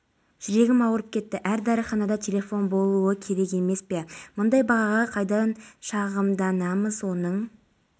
дайындап жатыр аталған миссияларда мың офицер мен солдат бар содан болар сириядағы деэскалация аймақтарының қауіпсіздігін